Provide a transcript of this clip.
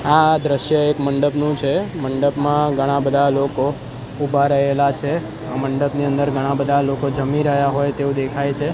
આ દ્રશ્ય એક મંડપનું છે મંડપમાં ઘણા-બધા લોકો ઉભા રહેલા છે મંડપની અંદર ઘણા-બધા લોકો જમી રહ્યા હોય તેવુ દેખાય છે.